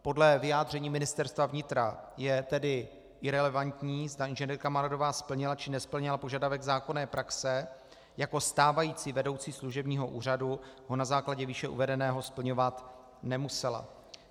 Podle vyjádření Ministerstva vnitra je tedy irelevantní, zda inženýrka Maradová splnila, či nesplnila požadavek zákonné praxe, jako stávající vedoucí služebního úřadu ho na základě výše uvedeného splňovat nemusela.